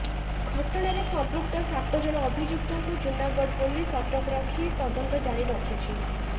ଘଟଣାରେ ସଂମ୍ପୃକ୍ତ ସାତ ଜଣ ଅଭିଯୁକ୍ତଙ୍କୁ ଜୁନାଗଡ ପୋଲିସ ଅଟକ ରଖତ୍ ତଦନ୍ତ ଜାରି ରଖିଛି